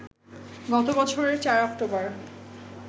গত বছরের ৪ অক্টোবর